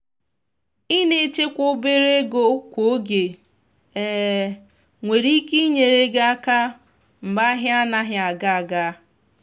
ina echekwa obere ego kwa oge nwere ike inyere gi aka mgbe ahia anaghị aga aga.